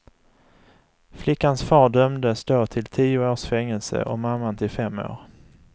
Flickans far dömdes då till tio års fängelse och mamman till fem år.